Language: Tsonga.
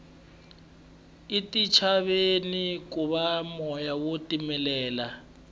etintshaveni ku ba moya wo titimela